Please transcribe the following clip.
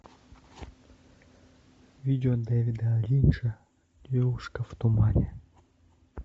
видео дэвида линча девушка в тумане